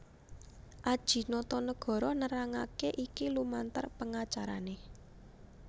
Adjie Notonegoro nerangake iki lumantar pengacarané